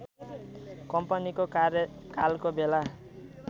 कम्पनीको कार्यकालको बेला